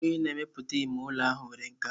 Onye na-emepụta ime ụlọ ahụ nwere nkà.